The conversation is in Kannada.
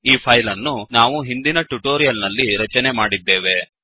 ಈ ಫೈಲ್ ಅನ್ನು ನಾವು ಹಿಂದಿನ ಟ್ಯುಟೋರಿಯಲ್ ನಲ್ಲಿ ರಚನೆ ಮಾಡಿದ್ದೇವೆ